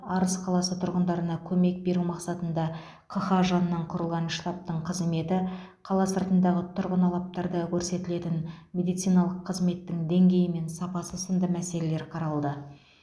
арыс қаласы тұрғындарына көмек беру мақсатында қха жанынан құрылған штабтың қызметі қала сыртындағы тұрғын алаптарда көрсетілетін медициналық қызметтің деңгейі мен сапасы сынды мәселелер қаралды